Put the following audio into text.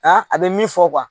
Nka a bɛ min fɔ